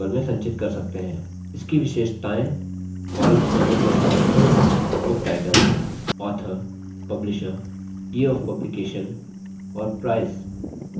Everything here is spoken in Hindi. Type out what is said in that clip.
इसकी विशेषताएँ columns बनने के साथbook title author publisher year of publication और price